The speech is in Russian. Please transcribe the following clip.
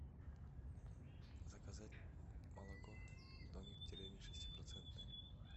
заказать молоко домик в деревне шестипроцентное